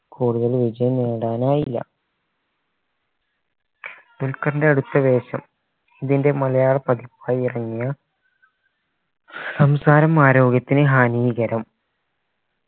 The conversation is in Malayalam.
കൂടുതൽ വിജയം നേടാനായില്ല ദുൽഖർൻറെ അടുത്ത വേഷം ഇതിൻറെ മലയാള പതിപ്പായി ഇറങ്ങിയ സംസാരം ആരോഗ്യത്തിന് ഹാനീകരം